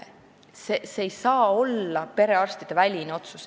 See ei saa olla perearstiväline otsus.